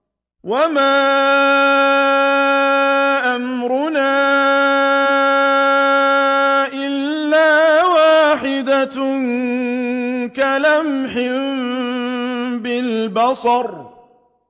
وَمَا أَمْرُنَا إِلَّا وَاحِدَةٌ كَلَمْحٍ بِالْبَصَرِ